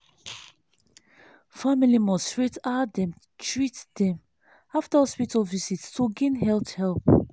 family must rate how dem treat dem after hospital visit to gain health help.